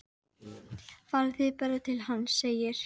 Farið þið bara til hans, segir